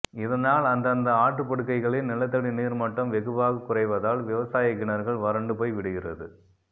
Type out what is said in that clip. இதனால் அந்தந்த ஆற்றுப்படுகைகளில் நிலத்தடி நீர்மட்டம் வெகுவாகக் குறைவதால் விவசாயக்கிணறுகள் வறண்டு போய் விடுகிறது